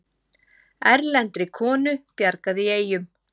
Erlendri konu bjargað í Eyjum